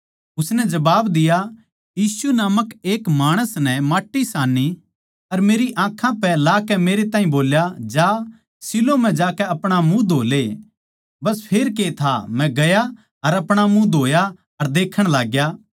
उसनै जबाब दिया यीशु नामक एक माणस नै माट्टी सान्नी अर मेरी आँखां पै लाकै मेरै ताहीं बोल्या जा शीलोह म्ह जाकै अपणा मुँह धो ले बस फेर के था मै गया अर अपणा मुँह धोया अर देक्खण लाग्या